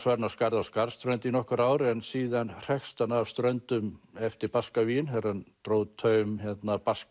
hann á Skarði á Skarðsströnd í nokkur ár en síðan hrekst hann af Ströndum eftir þegar hann dró taum